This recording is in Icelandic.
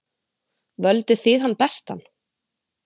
Völduð þið hann bestan?